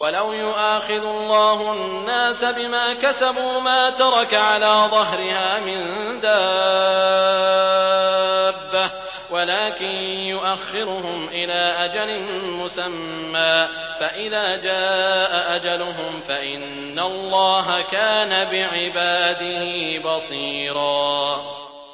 وَلَوْ يُؤَاخِذُ اللَّهُ النَّاسَ بِمَا كَسَبُوا مَا تَرَكَ عَلَىٰ ظَهْرِهَا مِن دَابَّةٍ وَلَٰكِن يُؤَخِّرُهُمْ إِلَىٰ أَجَلٍ مُّسَمًّى ۖ فَإِذَا جَاءَ أَجَلُهُمْ فَإِنَّ اللَّهَ كَانَ بِعِبَادِهِ بَصِيرًا